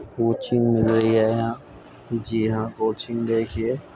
Coaching मिल रही है यहाँ जी हां कोचिंग देखिये।